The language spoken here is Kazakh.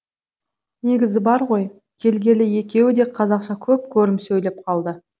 негізі бар ғой келгелі екеуі де қазақша көп көрім сөйлеп қалды